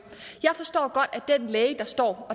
jeg forstår godt at den læge